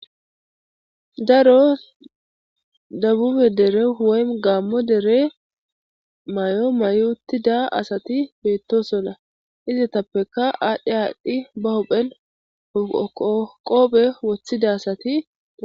daro dabube dere woy gaammo dere may7o mayutida asati beettosonna izatappekka aadhdhi aadhdhi ba hophen hoqoqophe woththida asati